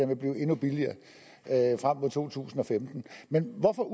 vil blive endnu billigere frem mod to tusind og femten men hvorfor